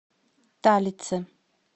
талицы